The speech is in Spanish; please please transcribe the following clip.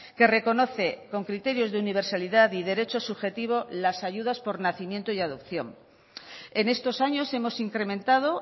que reconoce con criterios de universalidad y derecho subjetivo las ayudas por nacimiento y adopción en estos años hemos incrementado